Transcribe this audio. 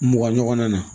Mugan ɲɔgɔn na